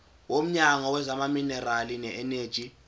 womnyango wezamaminerali neeneji